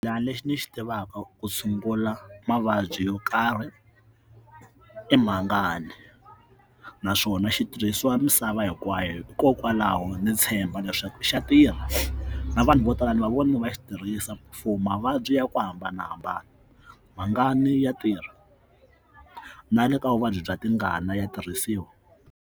Laha lexi ni xi tivaka ku tshungula mavabyi yo karhi i mhangani naswona xitirhisiwa misava hinkwayo hikokwalaho ndzi tshemba leswaku xa tirha na vanhu vo tala ni va vona va xi tirhisa mfuwo mavabyi ya ku hambanahambana mhangani ya tirha na le ka vuvabyi bya tingana ya tirhisiwa.